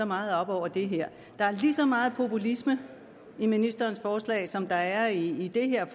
meget op over det her der er lige så meget populisme i ministerens forslag som der er i det her